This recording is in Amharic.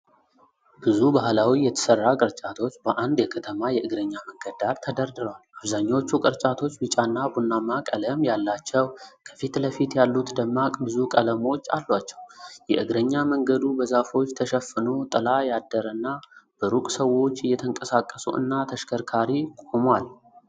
ብዙ ባህላዊ የተሠራ ቅርጫቶች በአንድ የከተማ የእግረኛ መንገድ ዳር ተደርድረዋል። አብዛኛዎቹ ቅርጫቶች ቢጫና ቡናማ ቀለም ያላቸው፣ ከፊትለፊት ያሉት ደማቅ ብዙ ቀለሞች አሏቸው። የእግረኛ መንገዱ በዛፎች ተሸፍኖ ጥላ ያደረና፣ በሩቅ ሰዎች እየተንቀሳቀሱ እና ተሽከርካሪ ቆሟል።